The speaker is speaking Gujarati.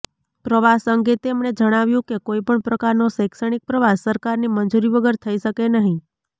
પ્રવાસ અંગે તેમણે જણાવ્યું કે કોઈપણ પ્રકારનો શૈક્ષણિક પ્રવાસ સરકારની મંજૂરી વગર થઈ શકે નહી